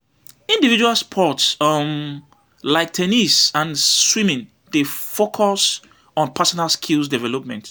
Individual sports um like ten nis and swimming dey focus on personal skill development.